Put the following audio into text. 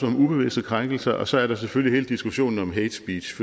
om ubevidste krænkelser og så er der selvfølgelig hele diskussionen om hate speech